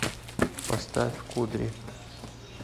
поставь кудри